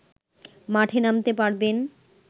মাঠে নামতে পারবেন